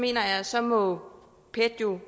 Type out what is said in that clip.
jeg at så må pet jo